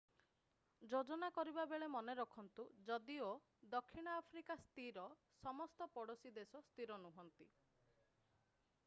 ଯୋଜନା କରିବାବେଳେ ମନେ ରଖନ୍ତୁ ଯଦିଓ ଦକ୍ଷିଣ ଆଫ୍ରିକା ସ୍ଥିର ସମସ୍ତ ପଡୋଶୀ ଦେଶ ସ୍ଥିର ନୁହନ୍ତି